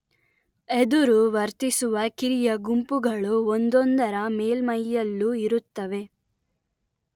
ಎದುರು ವರ್ತಿಸುವ ಕಿರಿಯ ಗುಂಪುಗಳು ಒಂದೊಂದರ ಮೇಲ್ಮೈಯಲ್ಲೂ ಇರುತ್ತವೆ